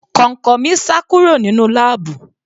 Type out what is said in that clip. Kọ̀ǹkọ̀ mi sá kúrò nínú láàbù.